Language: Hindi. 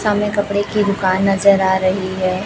सामने कपड़े की दुकान नजर आ रही है।